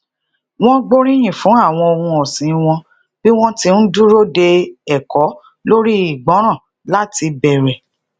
wón gbóríyìn fún àwọn ohun òsìn won bí wón ti ń dúró de eko lori ìgbóràn lati bere